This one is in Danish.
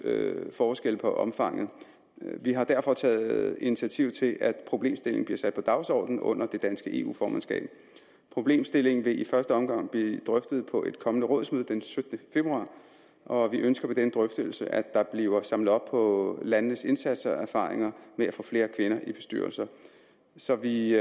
forskelle på omfanget vi har derfor taget initiativ til at problemstillingen bliver sat på dagsordenen under det danske eu formandskab problemstillingen vil i første omgang blive drøftet på et kommende rådsmøde den syttende februar og vi ønsker ved denne drøftelse at der bliver samlet op på landenes indsatser og erfaringer med at få flere kvinder i bestyrelser så vi